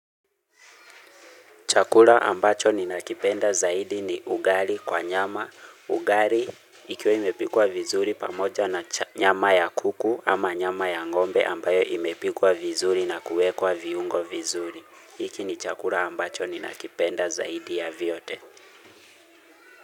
Chakula ambacho ninakipenda zaidi ni ugali kwa nyama. Ugali ikiwa imepikwa vizuri pamoja na nyama ya kuku ama nyama ya ng'ombe ambayo imepikwa vizuri na kuwekwa viungo vizuri. Hiki ni chakula ambacho ninakipenda zaidi ya vyote.